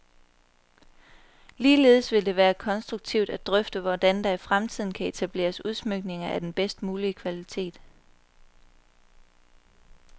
Ligeledes vil det være konstruktivt at drøfte, hvordan der i fremtiden kan etableres udsmykninger af den bedst mulige kvalitet.